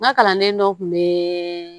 N ka kalanden dɔ kun bɛ